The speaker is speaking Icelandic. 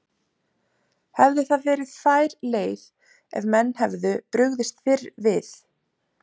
Hefði það verið fær leið ef menn hefðu brugðist fyrr við?